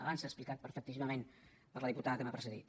abans s’ha explicat perfectíssimament per la diputada que m’ha precedit